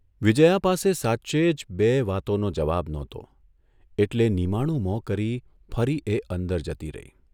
વિજયા પાસે સાચે જ બેય વાતોનો જવાબ નહોતો એટલે નિમાણું મોં કરી ફરી એ અંદર જતી રહી.